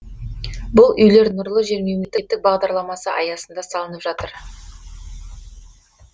бұл үйлер нұрлы жер мемлекеттік бағдарламасы аясында салынып жатыр